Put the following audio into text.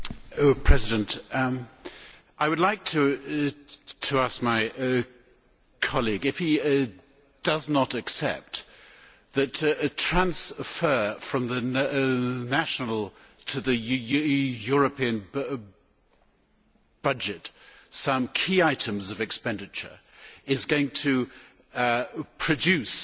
Mr President, I would like to ask my colleague if he does not accept that transferring from the national to the European budget some key items of expenditure is going to produce